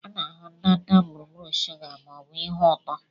A na-ahụ ndanda gburugburu shuga ma ọ bụ ihe ụtọ